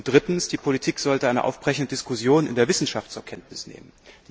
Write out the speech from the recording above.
Drittens Die Politik sollte eine aufbrechende Diskussion in der Wissenschaft zur Kenntnis nehmen.